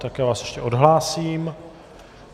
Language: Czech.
Tak já vás ještě odhlásím.